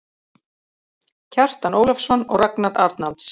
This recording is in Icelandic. Kjartan Ólafsson og Ragnar Arnalds.